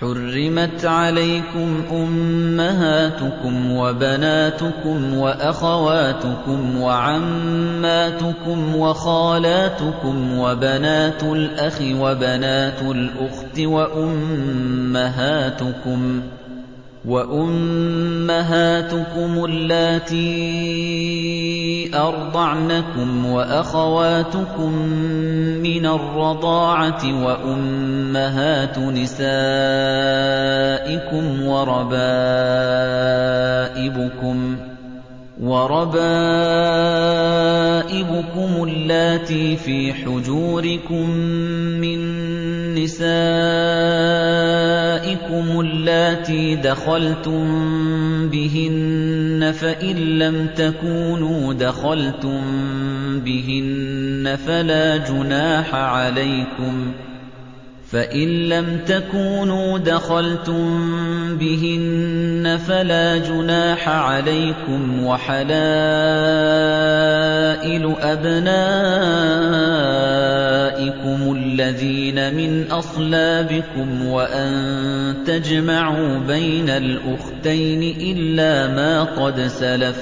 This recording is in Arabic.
حُرِّمَتْ عَلَيْكُمْ أُمَّهَاتُكُمْ وَبَنَاتُكُمْ وَأَخَوَاتُكُمْ وَعَمَّاتُكُمْ وَخَالَاتُكُمْ وَبَنَاتُ الْأَخِ وَبَنَاتُ الْأُخْتِ وَأُمَّهَاتُكُمُ اللَّاتِي أَرْضَعْنَكُمْ وَأَخَوَاتُكُم مِّنَ الرَّضَاعَةِ وَأُمَّهَاتُ نِسَائِكُمْ وَرَبَائِبُكُمُ اللَّاتِي فِي حُجُورِكُم مِّن نِّسَائِكُمُ اللَّاتِي دَخَلْتُم بِهِنَّ فَإِن لَّمْ تَكُونُوا دَخَلْتُم بِهِنَّ فَلَا جُنَاحَ عَلَيْكُمْ وَحَلَائِلُ أَبْنَائِكُمُ الَّذِينَ مِنْ أَصْلَابِكُمْ وَأَن تَجْمَعُوا بَيْنَ الْأُخْتَيْنِ إِلَّا مَا قَدْ سَلَفَ ۗ